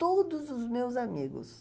todos os meus amigos.